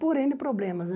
Por êne problemas, né?